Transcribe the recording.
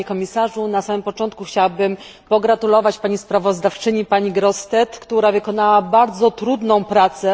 Na samym początku chciałabym pogratulować pani sprawozdawczyni Grossetête, która wykonała bardzo trudną pracę.